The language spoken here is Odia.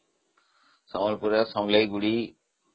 ସମ୍ବଲପୁରରେ ସମଳେଇ ମନ୍ଦିର